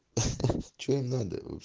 ха ха че им надо вообщ